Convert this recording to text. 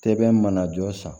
Sɛbɛn mana jɔ san